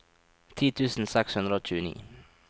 ti tusen seks hundre og tjueni